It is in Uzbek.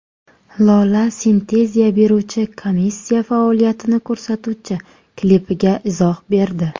Lola litsenziya beruvchi komissiya faoliyatini ko‘rsatuvchi klipiga izoh berdi.